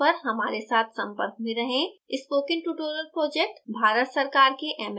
इसके लिए इस email address पर हमारे साथ संपर्क में रहें